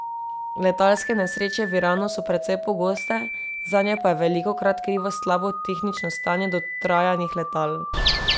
Letalske nesreče v Iranu so precej pogoste, zanje pa je velikokrat krivo slabo tehnično stanje dotrajanih letal.